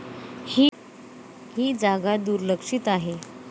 ही जागा दुर्लक्षित आहे.